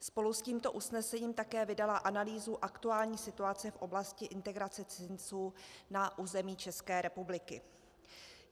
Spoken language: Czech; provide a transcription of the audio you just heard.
Spolu s tímto usnesením také vydala analýzu aktuální situace v oblasti integrace cizinců na území České republiky.